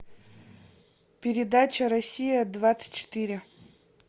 передача россия двадцать четыре